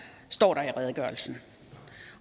står der i redegørelsen